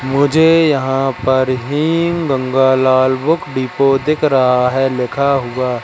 मुझे यहां पर हिम गंगालाल बुक डिपो दिख रहा है लिखा हुआ--